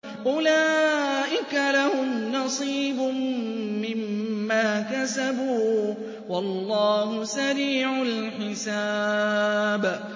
أُولَٰئِكَ لَهُمْ نَصِيبٌ مِّمَّا كَسَبُوا ۚ وَاللَّهُ سَرِيعُ الْحِسَابِ